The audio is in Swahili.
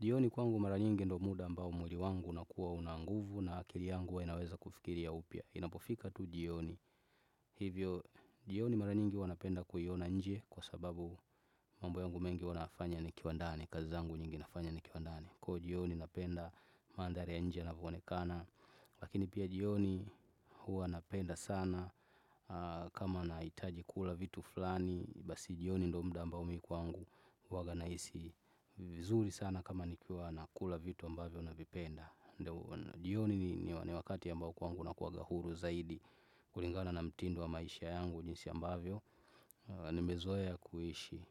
Jioni kwangu mara nyingi ndo muda ambao mwili wangu unakuwa unanguvu na akili yangu huwa inaweza kufikiria upya. Inapofika tu jioni. Hivyo jioni mara nyingi huwa napenda kuhiona nje kwa sababu mambo yangu mengi huwa nayafanya ni kiwa ndani. Kazi zangu nyingi nafanya ni kiwa ndani. Kwa jioni napenda mandhari ya nje yana voonekana. Lakini pia jioni huwa napenda sana kama na itaji kula vitu fulani. Basi jioni ndo mda ambao mikwangu uwaga naisi vizuri sana kama nikiwa na kula vitu ambavyo na vipenda jioni ni wakati ambao kwangu nakuaga huru zaidi kulingana na mtindo wa maisha yangu jinsi ambavyo ni mezoea kuishi